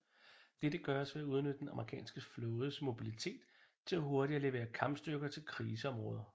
Dette gøres ved at udnytte den amerikanske flådes mobilitet til hurtigt at levere kampstyrker til kriseområder